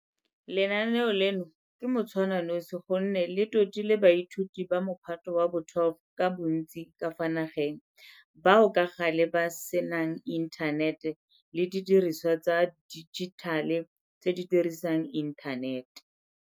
Lenaane leno ke motshwananosi gonne le totile baithuti ba Mophato wa bo 12 ka bontsi ka fa nageng bao ka gale ba senanginthanete le didirisiwa tsa dijithale tse di dirisang inthanete.